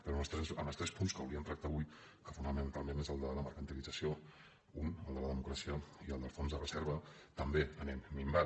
però en els tres punts que volíem tractar avui que fonamentalment són el de la mercantilització un el de la democràcia i el del fons de reserva també anem minvant